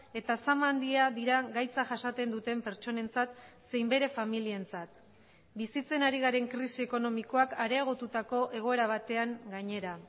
eta sama handia dira gaitza jasaten duten pertsonentzat zein bere familientzat bizitzen ari garen krisi ekonomikoak areagotutako egoera batean gainera